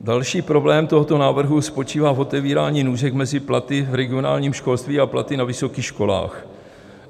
Další problém tohoto návrhu spočívá v otevírání nůžek mezi platy v regionálním školství a platy na vysokých školách.